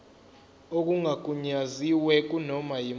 okungagunyaziwe kunoma yimuphi